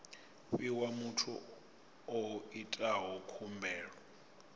fhiwa muthu o itaho khumbelo